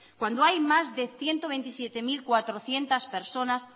cuando hay más de ciento veintisiete mil cuatrocientos personas